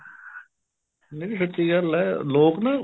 ਮੈਨੂੰ ਸੱਚੀ ਯਾਰ ਲੈ ਲੋਕ ਨਾ